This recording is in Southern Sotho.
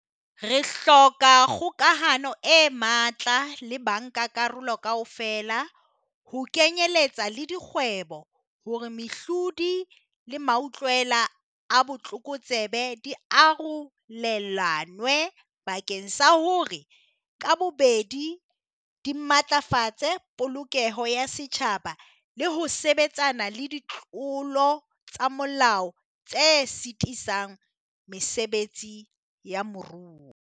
Re hloka kgokahano e matla le bankakarolo kaofela, ho kenyeletsa le dikgwebo, hore mehlodi le mautlwela a botlokotsebe di arolelanwe bakeng sa hore ka bobedi di matlafatse polokeho ya setjhaba le ho sebetsana le ditlolo tsa molao tse sitisang mesebetsi ya moruo.